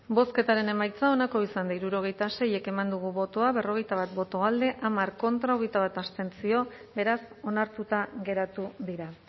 bozketaren emaitza onako izan da hirurogeita sei eman dugu bozka berrogeita bat boto alde hamar contra hogeita bat abstentzio beraz onartuta geratu dira